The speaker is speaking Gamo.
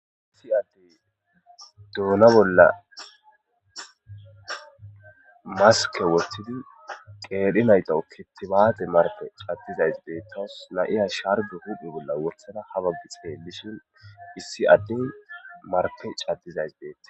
issi addey duuna bolla maske wottidi qeeri naytawu kitibaate marke caddizays beettos na7iya sharbu hudhdhi bolla wothada haba bi xee bishin issi adden marke caddizays bettes